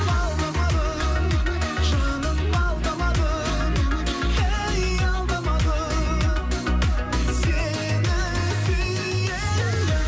алдамадым жаным алдамадым әй алдамадым сені сүйемін